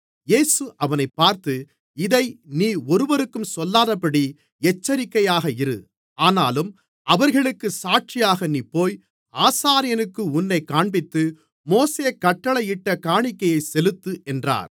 இயேசு அவனைப் பார்த்து இதை நீ ஒருவருக்கும் சொல்லாதபடி எச்சரிக்கையாக இரு ஆனாலும் அவர்களுக்குச் சாட்சியாக நீ போய் ஆசாரியனுக்கு உன்னைக் காண்பித்து மோசே கட்டளையிட்ட காணிக்கையைச் செலுத்து என்றார்